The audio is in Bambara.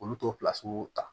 Olu t'o ta